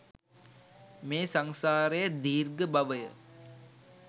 මේ සංසාරය දීර්ඝ බවය.